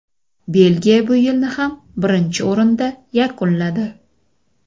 Belgiya bu yilni ham birinchi o‘rinda yakunladi.